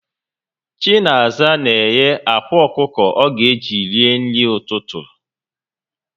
Chinaza n'éghé ákwàọkụkọ ọga eji ri nri ụtụtụ